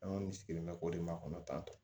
An kɔni sigilen bɛ k'o de makɔnɔ tan tɔ